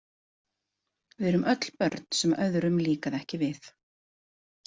Við erum öll börn sem öðrum líkaði ekki við.